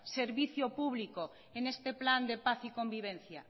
servicio público en este plan de paz y convivencia